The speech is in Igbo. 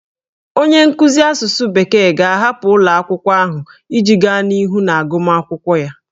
Onye nkuzi asụsụ bekee ga-ahapụ ụlọ akwụkwọ ahụ iji gaa n'ihu n'agụmakwụkwọ ya